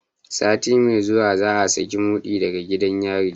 Sati mai zuwa za a saki mudi daga gidan yari.